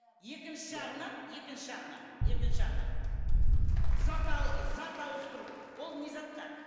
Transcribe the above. екінші жағынан екінші жағынан екінші жағынан зат ауыстыру ол не затқа